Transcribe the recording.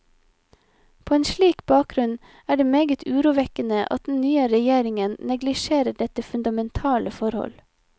På en slik bakgrunn er det meget urovekkende at den nye regjeringen neglisjerer dette fundamentale forhold.